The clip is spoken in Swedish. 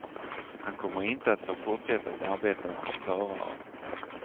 Han kommer inte att få fortsätta att arbeta som förare.